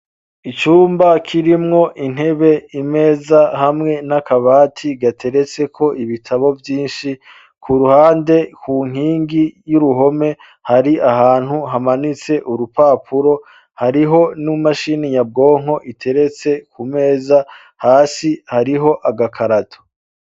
Icumba kirimwo intebe imeza hamwe n'akabati gateretseko ibitabo vyinshi ku ruhande ku nkingi y'uruhome hari ahantu hamanitse urupapuro hariho n'imashini nyabwonko iteretse ku meza hasi hariho agakarato.